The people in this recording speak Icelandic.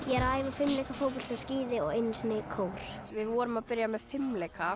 fimleika fótbolta og skíði og einu sinni í kór við vorum að byrja með fimleika